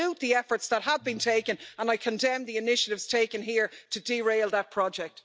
I salute the efforts that have been taken, and I condemn the initiatives taken here to derail that project.